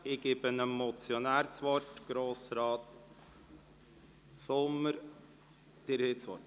Ich gebe dem Motionär, Grossrat Sommer, das Wort.